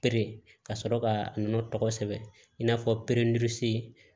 ka sɔrɔ ka a nɔnɔ tɔgɔ sɛbɛn in n'a fɔ